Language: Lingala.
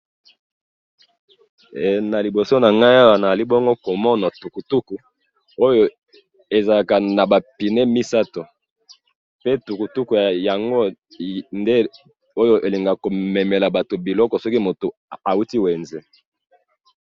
he na liboso nangayi awa nazali komona tukutuku ezalaka naba pineux misatu pe tukutuku elingaka komemela mutu biloko soki ehuti wenze